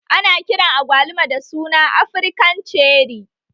Ana kiran agwaluma da suna Afrikan cerri